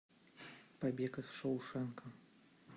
побег из шоушенка